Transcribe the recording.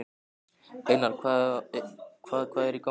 Einar, hvað hvað er í gangi?